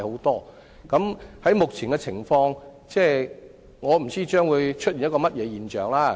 從目前的情況來看，我不知道將會出現甚麼現象？